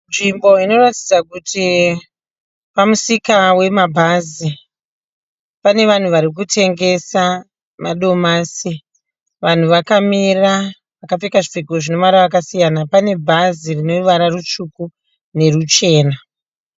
Nzvimbo inotaridza kuti pamusika wemabhazi. Pane vanhu vari kutengesa madomasi, vanhu vakamira vakapfeka zvipfeko mavara akasiyana. Pane bhazi rine ruvara rutsvuku neruchena.